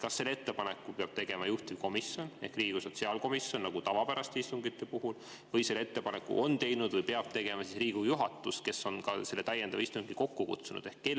Kas selle ettepaneku peab tegema juhtivkomisjon ehk Riigikogu sotsiaalkomisjon nagu tavapäraste istungite puhul või selle ettepaneku peab tegema Riigikogu juhatus, kes on selle täiendava istungi kokku kutsunud?